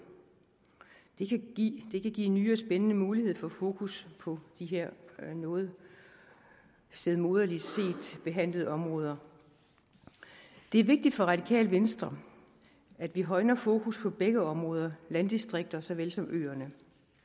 det kan give give nye og spændende muligheder for fokus på de her noget stedmoderligt behandlede områder det er vigtigt for radikale venstre at vi højner fokus på begge områder landdistrikterne såvel som øerne